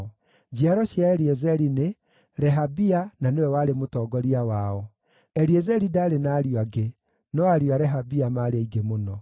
Njiaro cia Eliezeri nĩ: Rehabia na nĩwe warĩ mũtongoria wao. Eliezeri ndaarĩ na ariũ angĩ, no ariũ a Rehabia maarĩ aingĩ mũno.